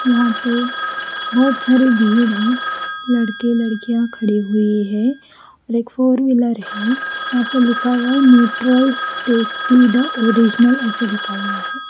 यहाँ पे बहुत सारी भीड़ है लड़के लडकिया खड़ी हुई है एक फोरविलर है यहाँ पे लिखा हुआ है निउट्रलस टेस्टी द ओरिजनल ऐसे लिखा हुआ है।